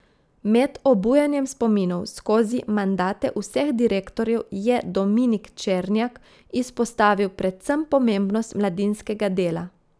Med obujanjem spominov skozi mandate vseh direktorjev je Dominik Černjak izpostavil predvsem pomembnost mladinskega dela.